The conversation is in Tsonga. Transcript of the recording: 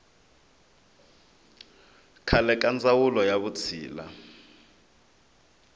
khale ka ndzawulo ya vutshila